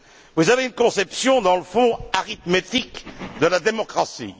Vous avez une conception, dans le fond, arithmétique de la démocratie.